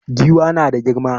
Giwa na da girma